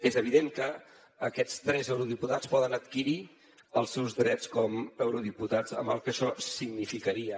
és evident que aquests tres eurodiputats poden adquirir els seus drets com a eurodiputats amb el que això significaria